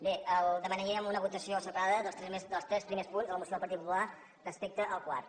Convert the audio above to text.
bé demanaríem una votació separada dels tres primers punts de la moció del partit popular respecte al quart